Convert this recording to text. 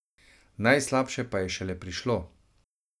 Najslabše pa je šele prišlo.